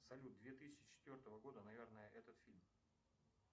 салют две тысячи четвертого года наверное этот фильм